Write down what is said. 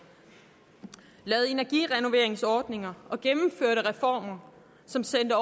lavede energirenoveringsordninger og gennemførte reformer som sendte